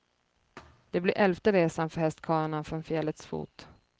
Det blir elfte resan för hästkarlarna från fjällets fot.